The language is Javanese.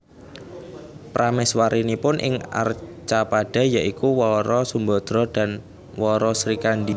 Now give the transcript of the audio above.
Prameswarinipun ing Arcapada ya iku Wara Sumbadra dan Wara Srikandi